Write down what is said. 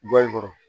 Bɔlɔn kɔrɔ